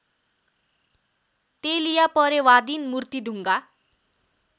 तेलिया परेवादिन मूर्तिढुङ्गा